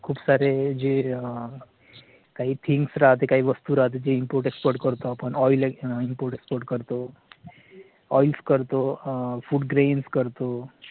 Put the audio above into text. खूप सारे जे काही THINGS राहते काही वस्तू राहते ती import export करतो आपण oil import export करतो. OILS करतो FOOD GRAINS करतो